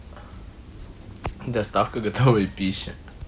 доставка готовой пищи